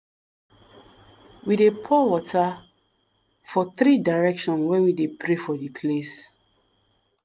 we dey pour water for three directions when we dey pray for di place.